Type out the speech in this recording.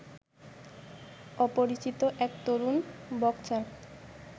অপরিচিত এক তরুণ বক্সার